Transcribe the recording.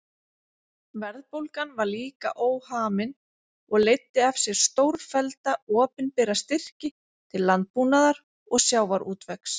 Verðbólgan var líka óhamin og leiddi af sér stórfellda opinbera styrki til landbúnaðar og sjávarútvegs.